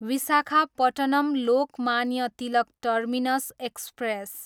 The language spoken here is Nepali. Visakhapatnam, Lokmanya Tilak terminus express